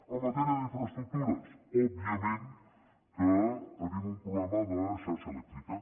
en matèria d’infraestructures òbviament que tenim un problema de xarxa elèctrica